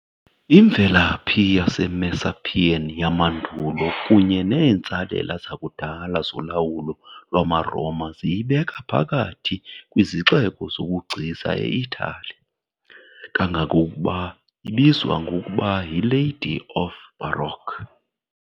Imvelaphi yaseMessapian yamandulo kunye neentsalela zakudala zolawulo lwamaRoma ziyibeka phakathi kwezixeko zobugcisa eItali, kangangokuba ibizwa ngokuba yi "Lady of the Baroque ".